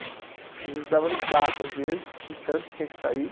Às vezes dava no saco, às vezes, de tanto que tinha que sair.